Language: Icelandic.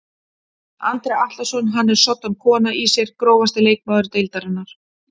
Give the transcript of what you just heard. Andri Atlason hann er soddan kona í sér Grófasti leikmaður deildarinnar?